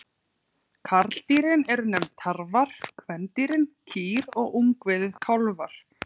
Karldýrin eru nefnd tarfar, kvendýrin kýr og ungviðið kálfar.